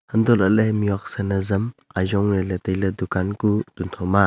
hantohlaley mihhuak San ajam ajong lahley tailey dukan kuh tuntho ma.